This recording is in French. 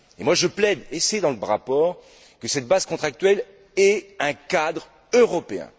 Et moi je plaide et c'est dans le rapport pour que cette base contractuelle ait un cadre européen.